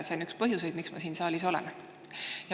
See ongi üks põhjuseid, miks ma siin saalis olen.